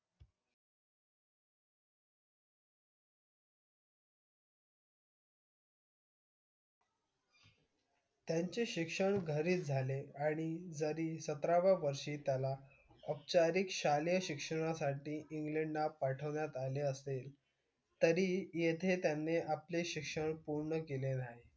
त्यांचे शिक्षण घरीच झाले आणि जरी सतराव्या वर्षी त्याला औपचारिक शालेय शिक्षणासाठी इंग्लंडला पाठवण्यात आले असेल तरीही येथे त्यांनी आपले शिक्षण पूर्ण केले नाही.